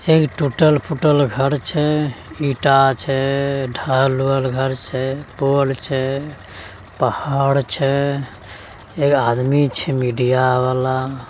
एक टूटल-फुटल घर छै ईटा छै घर छै पोल छै पहाड़ छै एक आदमी छै मीडिया वाला --